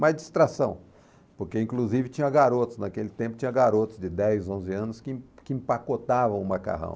Mas distração, porque inclusive tinha garotos, naquele tempo tinha garotos de dez, onze anos que que empacotavam o macarrão.